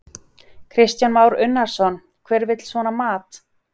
Kristján Már Unnarsson: Hver vill svona mat?